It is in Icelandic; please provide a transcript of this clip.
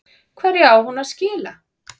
Hverju á hún að skila?